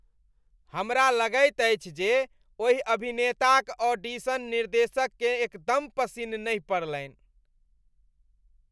हमरा लगैत अछि जे ओहि अभिनेताक ऑडिशन निर्देशककेँ एकदम पसिन नहि पड़लनि।